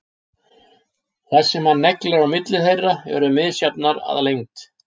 Þær sem hann neglir á milli þeirra eru misjafnar að lengd.